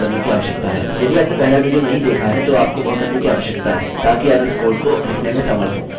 यदि आपने पहला विडियो नहीं देखा है तो आपको वह करने की आवश्यकता है ताकि आप इस कोड को लिखने में समर्थ हों